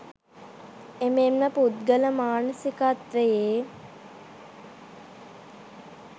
එමෙන්ම පුද්ගල මානසිකත්වයේ